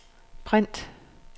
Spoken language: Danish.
print